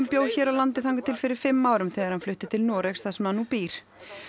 bjó hér á landi þangað til fyrir fimm árum þegar hann flutti til Noregs þar sem hann nú býr